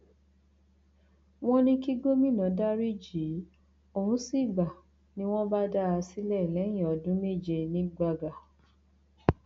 wọn ní kí gómìnà dariji i òun sì gbà ni wọn bá dá a sílẹ lẹyìn ọdún méje ní gbàgà